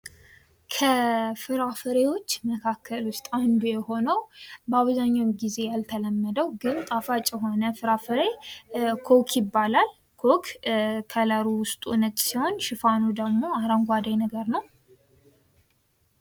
ከፍራፍሬዎች መካከል ውስጥ አንዱ የሆነው በአብዛኛው ጊዜ ያልተለመደው ግን ጣፋጭ የሆነ ፍራፍሬ ኮክ ይባላል። ኮክ ከለሩ ዉስጡ ነጭ ሲሆን ሽፋኑ ደግሞ አረንጓዴ ነገር ነው።